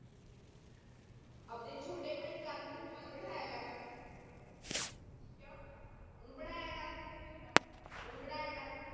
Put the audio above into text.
ਆਪਦੇ ਛੋਟੇ ਭਾਈ ਕਰਨ ਨੂੰ ਨਾਲ ਬਿਠਾਯਾ ਕਰ ਕਿਊ ਉਨੂੰ ਪੜਾਯਾ ਕਰ ਓ ਤਾ ਮੇਰੀ ਮਰਿਜੀ ਆ ਓਨੂੰ ਪੜਾਯਾ ਕਰ